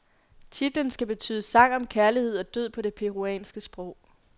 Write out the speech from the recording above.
Titlen skal betyde sang om kærlighed og død på det peruanske sprog.